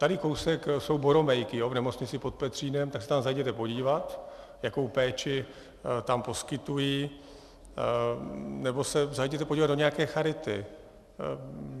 Tady kousek jsou boromejky v Nemocnici pod Petřínem, tak se tam zajděte podívat, jakou péči tam poskytují, nebo se zajděte podívat do nějaké charity.